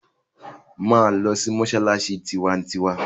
Máa lọ sí mọ́ṣáláṣí tiwantiwa!